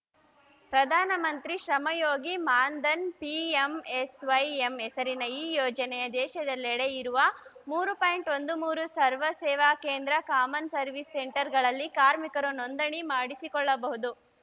ಪ್ರಧಾನ ಮಂತ್ರಿ ಶ್ರಮಯೋಗಿ ಮಾನ್‌ಧನ್‌ ಪಿಎಂಎಸ್‌ವೈಎಂ ಹೆಸರಿನ ಈ ಯೋಜನೆಗೆ ದೇಶದೆಲ್ಲೆಡೆ ಇರುವ ಮೂರು ಪಾಯಿಂಟ್ ಒಂದು ಮೂರು ಲಕ್ಷ ಸರ್ವ ಸೇವಾ ಕೇಂದ್ರ ಕಾಮನ್‌ ಸರ್ವಿಸ್ ಸೆಂಟರ್‌ಗಳಲ್ಲಿ ಕಾರ್ಮಿಕರು ನೋಂದಣಿ ಮಾಡಿಸಿಕೊಳ್ಳಬಹುದು